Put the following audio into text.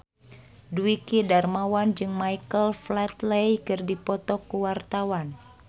Dwiki Darmawan jeung Michael Flatley keur dipoto ku wartawan